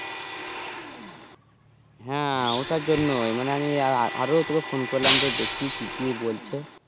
হ্যাঁ ওটার জন্যই মানে আমি আরো তোকে phone করলাম যে দেখি কি কি বলছে